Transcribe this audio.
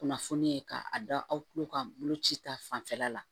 Kunnafoni ye k'a dɔn aw tulo kan boloci ta fanfɛla la